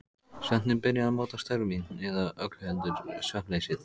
Svefninn byrjaði að móta störf mín- eða öllu heldur svefnleysið.